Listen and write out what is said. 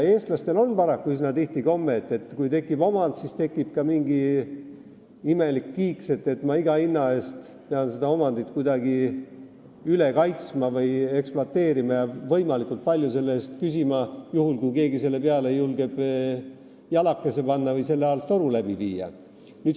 Eestlastel on paraku üsna tihti komme, et kui tekib omand, siis tekib ka mingi imelik kiiks: ma pean iga hinna eest seda omandit kuidagi üle kaitsma või ekspluateerima ja võimalikult palju selle eest küsima, juhul kui keegi julgeb selle peale oma jalakese panna või selle alt toru läbi viia.